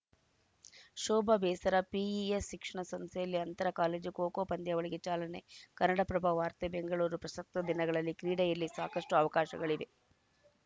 ಶೋಭಾ ಬೇಸರ ಪಿಇಎಸ್‌ ಶಿಕ್ಷಣ ಸಂಸ್ಥೆಯಲ್ಲಿ ಅಂತರ ಕಾಲೇಜು ಖೋ ಖೋ ಪಂದ್ಯಾವಳಿಗೆ ಚಾಲನೆ ಕನ್ನಡಪ್ರಭ ವಾರ್ತೆ ಬೆಂಗಳೂರು ಪ್ರಸಕ್ತ ದಿನಗಳಲ್ಲಿ ಕ್ರೀಡೆಯಲ್ಲಿ ಸಾಕಷ್ಟು ಅವಕಾಶಗಳಿವೆ